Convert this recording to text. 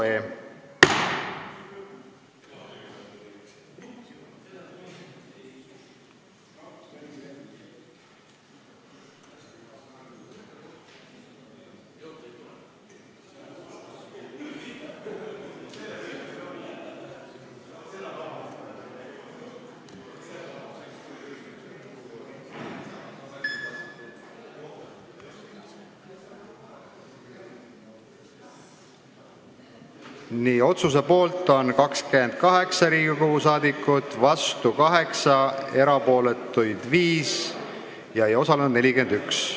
Hääletustulemused Otsuse poolt on 28 Riigikogu liiget, vastu 8 ja erapooletuid 5, ei osalenud 41.